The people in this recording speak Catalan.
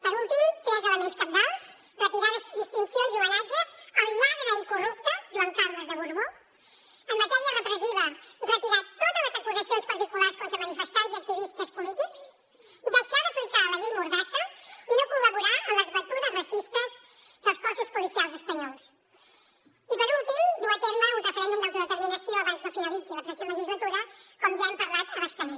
per últim tres elements cabdals retirar distincions i homenatges al lladre i corrupte joan carles de borbó en matèria repressiva retirar totes les acusacions particulars contra manifestants i activistes polítics deixar d’aplicar la llei mordassa i no col·laborar en les batudes racistes dels cossos policials espanyols i per últim dur a terme un referèndum d’autodeterminació abans no finalitzi la present legislatura com ja hem parlat a bastament